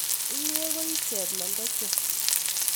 inyee ko ii cheplembechwa